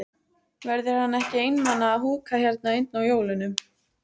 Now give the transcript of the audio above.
Verður hann ekki einmana að húka hérna einn á jólunum?